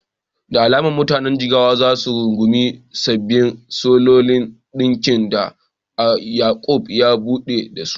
Da alama mutanen Jigawa za su rungumi sabbin salon ɗinkin da Yaqub ya ɓullo da su.